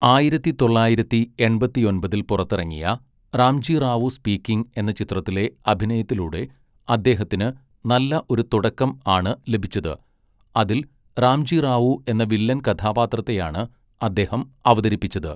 ആയിരത്തി തൊള്ളായിരത്തി എൺപത്തിയൊമ്പതിൽ പുറത്തിറങ്ങിയ 'റാംജി റാവു സ്പീക്കിംഗ്' എന്ന ചിത്രത്തിലെ അഭിനയത്തിലൂടെ അദ്ദേഹത്തിന് നല്ല ഒരു തുടക്കം ആണ് ലഭിച്ചത്, അതിൽ റാംജി റാവു എന്ന വില്ലൻ കഥാപാത്രത്തെയാണ് അദ്ദേഹം അവതരിപ്പിച്ചത് .